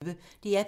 DR P1